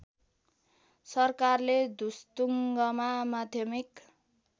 सरकारले धुस्तुङ्गमा माध्यमिक